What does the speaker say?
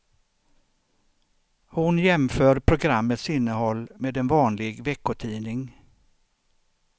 Hon jämför programmets innehåll med en vanlig veckotidning.